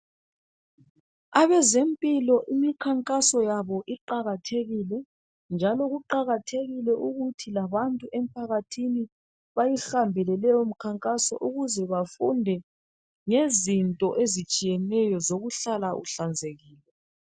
Abazempilo imikhankaso yabo iqakathekile, njalo kuqakathekile ukuthi labantu emphakathini bayihambe lemikhankaso ukuze bafunde ngezinto ezitshiyeneyo zokuhlala uhlanzekile.